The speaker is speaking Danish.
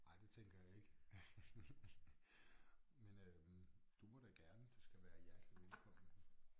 Ej det tænker jeg ikke men øh du må da gerne du skal være hjertelig velkommen